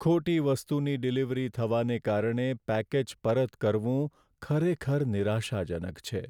ખોટી વસ્તુની ડિલિવરી થવાને કારણે પેકેજ પરત કરવું ખરેખર નિરાશાજનક છે.